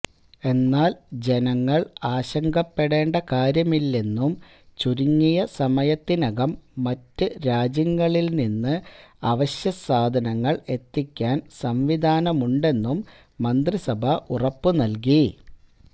എന്നാൽ ജനങ്ങൾ ആശങ്കപ്പെടേണ്ട കാര്യമില്ലെന്നും ചുരുങ്ങിയ സമയത്തിനകം മറ്റ് രാജ്യങ്ങളിൽ നിന്ന് അവശ്യസാധനങ്ങൾ എത്തിക്കാൻ സംവിധാനമുണ്ടെന്നും മന്ത്രിസഭ ഉറപ്പു നൽകി